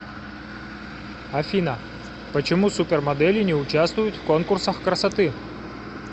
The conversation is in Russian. афина почему супермодели не участвуют в конкурсах красоты